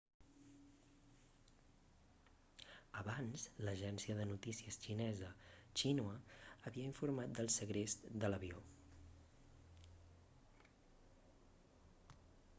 abans l'agència de notícies xinesa xinhua havia informat del segrest de l'avió